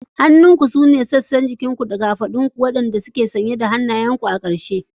Hannunku sune dogayen sassan jikin ku guda biyu waɗanda ke manne da kafadu kuma waɗanda ke da hannayenku a ƙarshe.